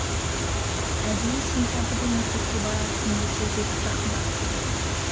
әдейі сентябрьді мектепке барар күнді тездеп жақындатып келеді